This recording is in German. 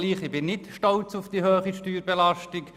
Ich bin nicht stolz auf die hohe Steuerbelastung.